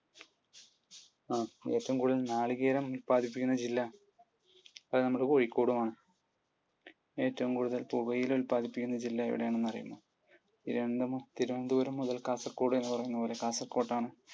ഏറ്റവും കൂടുതൽ നാളികേരം ഉല്പാദിപ്പിക്കുന്ന ജില്ല? അതു നമ്മുടെ കോഴിക്കോടും ആണ്. ഏറ്റവും കൂടുതൽ പുകയില ഉല്പാദിപ്പിക്കുന്ന ജില്ല എവിടെയാണെന്ന് അറിയുമോ? തിരുവനന്തപുരം മുതൽ കാസർഗോഡ് വരെ എന്ന് പറയുന്നതുപോലെ കാസർഗോഡ് ആണ്.